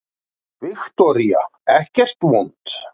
Viktoría: Ekkert vont?